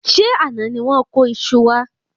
Ṣé àná ni wón kó iṣu wa?